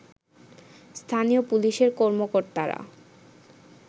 স্থানীয় পুলিশের কর্মকর্তারা